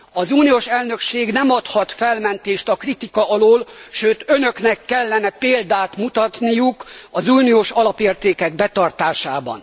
Az uniós elnökség nem adhat felmentést a kritika alól, sőt Önöknek kellene példát mutatniuk az uniós alapértékek betartásában.